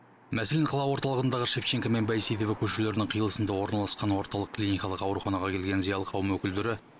мәселен қала орталығындағы шевченко мен байсейітова көшелерінің қиылысында орналасқан орталық клиникалық ауруханаға келген зиялы қауым өкілдері